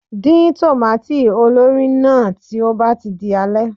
Dín tòmâtì olórìí náà tí ó bá ti di alẹ́.